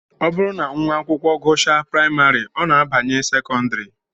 Ọ bụrụ na nwa akwụkwọ gụchaa praịmarị, ọ na-abanye sekọndịrị